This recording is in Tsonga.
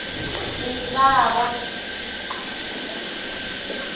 misava